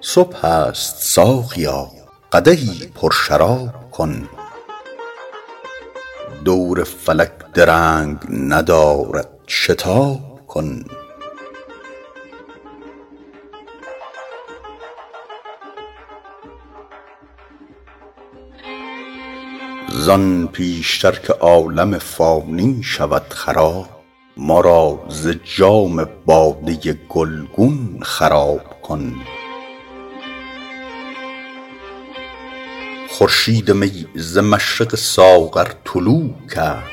صبح است ساقیا قدحی پرشراب کن دور فلک درنگ ندارد شتاب کن زان پیش تر که عالم فانی شود خراب ما را ز جام باده گلگون خراب کن خورشید می ز مشرق ساغر طلوع کرد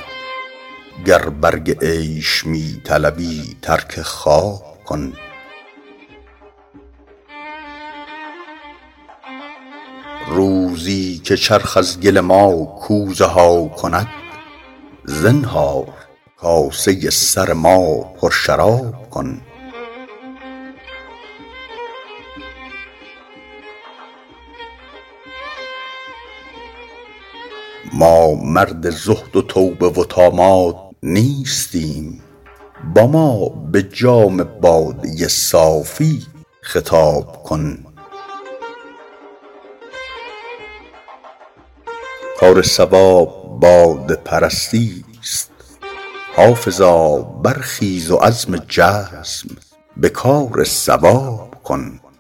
گر برگ عیش می طلبی ترک خواب کن روزی که چرخ از گل ما کوزه ها کند زنهار کاسه سر ما پرشراب کن ما مرد زهد و توبه و طامات نیستیم با ما به جام باده صافی خطاب کن کار صواب باده پرستی ست حافظا برخیز و عزم جزم به کار صواب کن